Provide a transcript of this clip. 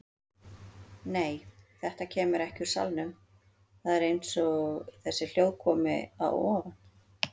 Nei, þetta kemur ekki úr salnum, það er eins og þessi hljóð komi að ofan.